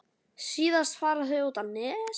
Síðast fara þau út á Nes.